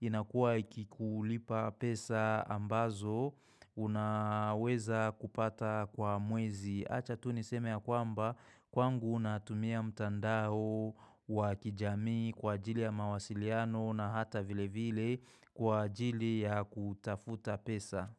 inakuwa ikikulipa pesa ambazo unaweza kupata kwa mwezi Acha tuniseme ya kwamba kwangu natumia mtandao wa kijami kwa ajili ya mawasiliano na hata vile vile kwa ajili ya kutafuta pesa.